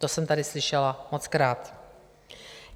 To jsem tady slyšela mockrát.